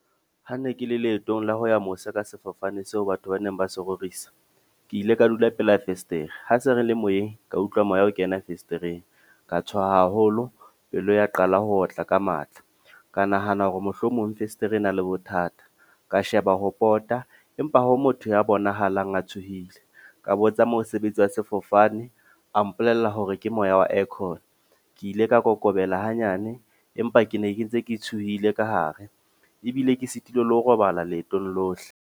Ha ne ke le leetong la ho ya mose ka sefofane seo batho ba neng ba so rorisa. Ke ile ka dula pela fesetere, ha se re le moyeng, ka utlwa moya ho kena festereng. Ka tshoha haholo pelo ya qala ho otla ka matla. Ka nahana hore mohlomong festere e na le bothata. Ka sheba ho pota, empa ho motho ya bonahalang a tshohile. Ka bo tsa mosebetsi wa sefofane, a mpolella hore ke moya wa aircorn. Ke ile ka kokobela hanyane, empa ke ne ke ntse ke tshohile ka hare. Ebile ke sitilwe le ho robala leetong lohle.